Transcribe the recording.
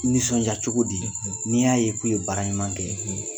Nisɔndiya cogo di, , n'i y'a ye k'u ye baara ɲuman kɛ,